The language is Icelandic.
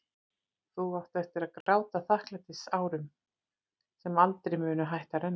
Þú átt eftir að gráta þakklætistárum sem aldrei munu hætta að renna.